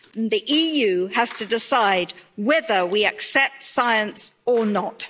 The EU has to decide whether we accept science or not.